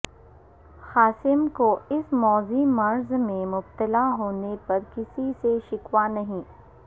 قاسم کو اس موذی مرض میں مبتلا ہونے پر کسی سے شکوہ نہیں